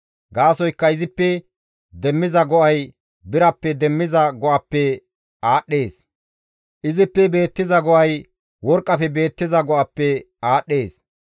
Gaasoykka izippe demmiza go7ay birappe demmiza go7appe aadhdhees; izippe beettiza go7ay worqqafe beettiza go7appe aadhdhees.